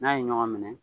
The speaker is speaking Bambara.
N'a ye ɲɔgɔn minɛ